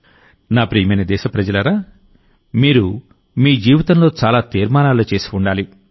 నా ప్రియమైన దేశప్రజలారామీరు మీ జీవితంలో చాలా తీర్మానాలు చేసి ఉండాలి